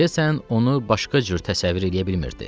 Deyəsən onu başqa cür təsəvvür eləyə bilmirdi.